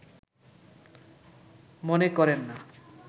মনে করেন না